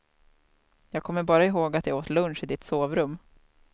Jag kommer bara ihåg att jag åt lunch i ditt sovrum.